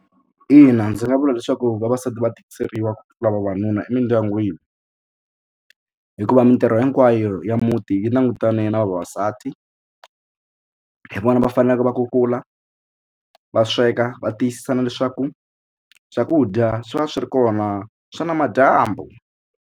Ina ndzi nga vula leswaku vavasati va tikiseliwa ku tlula vavanuna emindyangwini hikuva mitirho hinkwayo ya muti yi langutane na vavasati hi vona va faneleke va kukula va sweka va tiyisisa na leswaku swakudya swi va swi ri kona swa namadyambu.